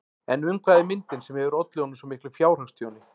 En um hvað er myndin sem hefur ollið honum svo miklu fjárhagstjóni?